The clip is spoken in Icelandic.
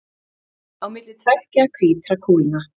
Á milli tveggja hvítra kúlna.